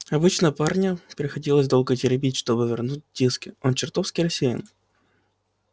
обычно парня приходилось долго теребить чтобы вернул диски он чертовски рассеян